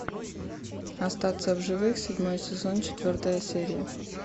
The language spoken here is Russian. остаться в живых седьмой сезон четвертая серия